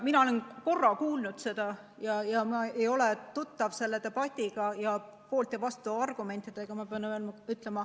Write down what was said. Mina olen korra seda kuulnud, aga pean ütlema, et ma ei ole tuttav selle debatiga ega poolt- ja vastuargumentidega.